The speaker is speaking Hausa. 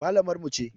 Mallamar mu ce.